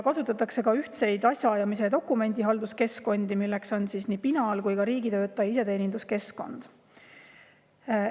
Kasutatakse ka ühtseid asjaajamise ja dokumendihalduse keskkondi, milleks on siis nii Pinal kui ka riigitöötaja iseteenindus.